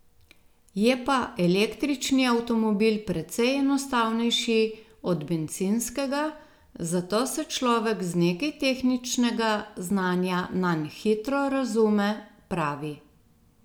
Je pa električni avtomobil precej enostavnejši od bencinskega, zato se človek z nekaj tehničnega znanja nanj hitro razume, pravi.